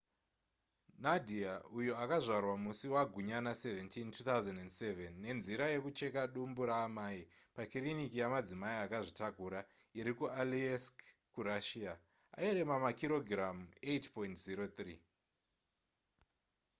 nadia uyo akazvarwa musi wagunyana 17 2007 nenzira yekucheka dumbu raamai pakiriniki yemadzimai akazvitakura iri kualeisk kurussia airema makirogiramu 8.03